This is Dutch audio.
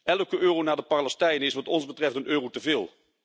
Elke euro naar de Palestijnen is wat ons betreft een euro te veel.